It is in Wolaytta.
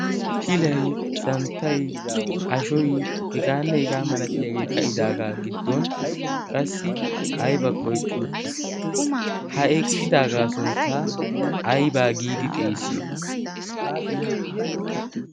pilay santtay ashoy hegaanne hegaa malatiyaagee ka'idaagaa giddon qassi aibakko eqqi uttiis ha eqqidaagaa sunttaa aibaa giidi xeesiyo?